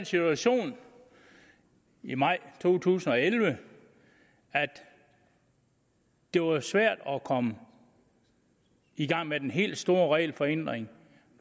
situation i maj to tusind og elleve at det var svært at komme i gang med den helt store regelforenkling